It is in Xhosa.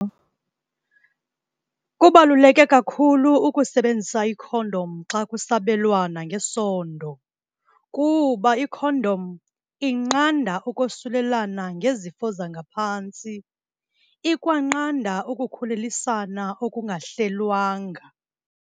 Kubaluleke kakhulu ukusebenzisa ikhondom xa kusabelwana ngesondo kuba ikhondom inqanda ukosulelana ngezifo zangaphantsi. Ikwanqanda ukukhulelisana okungahlelwanga.